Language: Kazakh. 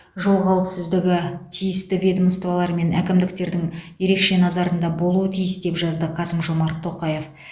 жол қауіпсіздігі тиісті ведомстволар мен әкімдіктердің ерекше назарында болуы тиіс деп жазды қасым жомарт тоқаев